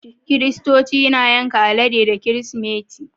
Kiristoci na yanka alade da kirismeti